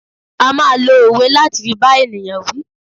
A máa lo òwe láti fi bá ènìyàn wí.